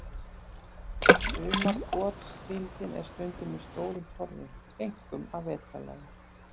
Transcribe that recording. Sumargotssíldin er stundum í stórum torfum, einkum að vetrarlagi.